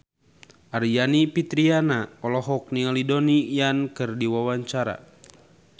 Aryani Fitriana olohok ningali Donnie Yan keur diwawancara